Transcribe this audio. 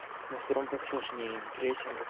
на втором посложнее на третьем в